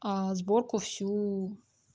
а сборку всю